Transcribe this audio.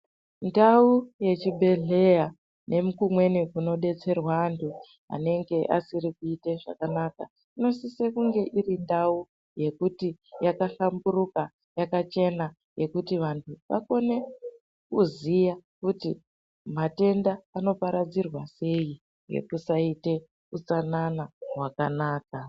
Ndau yechibhedhleya ngekumweni kunodetserwa anthu anenge asiri kuite zvakanaka inosise kunge iri ndau yekuti yakahlamburuka yakachena yekuti vanthu vakone kuziya kuti matenda anoparadzirwa sei nekusaita utsanana hwakanaka.